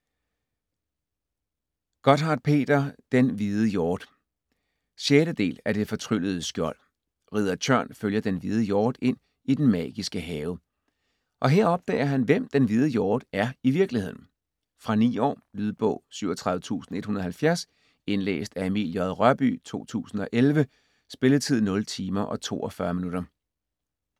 Gotthardt, Peter: Den hvide hjort 6. del af Det fortryllede skjold. Ridder Tjørn følger den hvide hjort ind i den magiske have, og her opdager han, hvem den hvide hjort er i virkeligheden. Fra 9 år. Lydbog 37170 Indlæst af Emil J. Rørbye, 2011. Spilletid: 0 timer, 42 minutter.